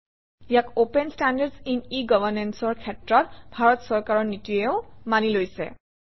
ইয়াক open standards in e Governance অৰ ক্ষেত্ৰত ভাৰত চৰকাৰৰ নীতিয়েও মানি লৈছে